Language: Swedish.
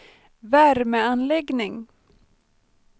värmeanläggning